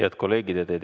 Head kolleegid!